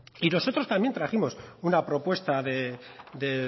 y nosotros también trajimos una propuesta de